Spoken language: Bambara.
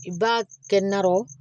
I b'a kɛ narɔ